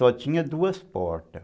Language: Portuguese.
Só tinha duas portas.